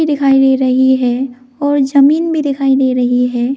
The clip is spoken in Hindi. दिखाई दे रही है और जमीन भी दिखाई दे रही है।